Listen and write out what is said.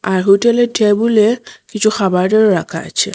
আর হোটেলর টেবুলে কিছু খাবারও রাখা আচে।